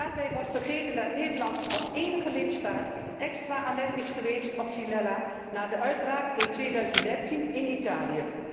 Daarbij wordt vergeten dat Nederland als enige lidstaat extra alert is geweest op Xylella na de uitbraak in 2013 in Italië.